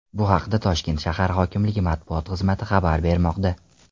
Bu haqda Toshkent shahar hokimligi Matbuot xizmati xabar bermoqda .